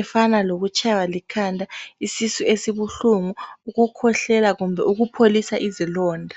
efana lokutshaywa likhanda, isisu esibuhlungu, ukukhwehlela kumbe ukupholisa izilonda.